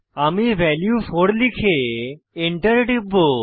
আমি ভ্যালু 4 লিখে এন্টার টিপব